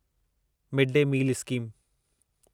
mid day meal scheme